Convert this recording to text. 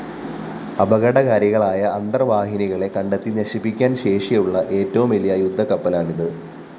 അപകടകാരികളായ അന്തര്‍വാഹിനികളെ കണ്ടെത്തി നശിപ്പിക്കാന്‍ ശേഷിയുള്ള ഏറ്റവും വലിയ യുദ്ധക്കപ്പലാണിത്